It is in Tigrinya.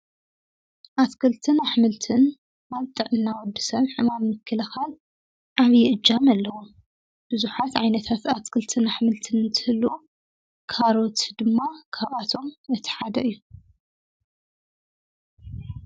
አትክልትን አሕምልትን አብ ጥዕና ወዲ ሰብ ሕማም ንምክልኻል ዓብይ እጃም አለዎ፡፡ ብዙሓት ዓይነታት አትክልትን አሕምልትን እንትህልው ካሮት ድማ ካብአቶም እቲ ሓደ እዩ፡፡